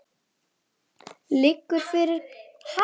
Liggur fyrir hvenær það verður gert?